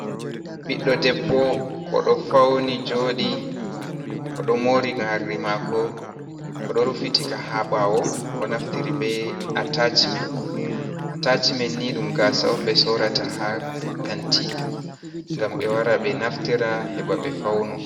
Ɓiɗɗo debbo, o ɗo fawni jooɗi, o ɗo moori moorɗi maako. O ɗo rufitika haa ɓaawo, o naftiri be atacimen, atacimen ni ɗum gaasa on, ɓe soorata haa kanti, ngam ɓe wara, ɓe naftira heɓa, ɓe fawno.